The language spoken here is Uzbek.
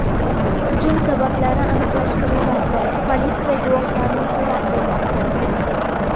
Hujum sabablari aniqlashtirilmoqda, politsiya guvohlarni so‘roq qilmoqda.